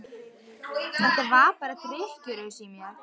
Þetta var bara drykkjuraus í mér.